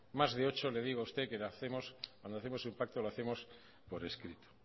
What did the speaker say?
más de ocho le digo a usted que lo hacemos cuando hacemos un pacto lo hacemos por escrito